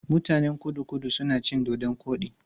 Mutanen Kudu-Kudu suna cin dodon koɗi.